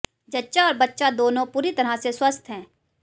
जच्चा और बच्चा दोनों पूरी तरह से स्वस्थ हैं